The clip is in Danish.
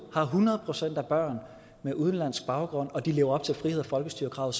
har hundrede procent af børn med udenlandsk baggrund og de lever op til frihed og folkestyre kravet